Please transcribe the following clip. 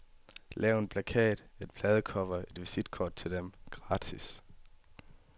Lav en plakat, et pladecover, et visitkort til dem, gratis.